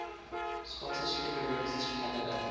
scottish immigrants to canada